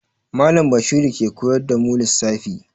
Mallam Bashiru ke koyar da mu lissafi.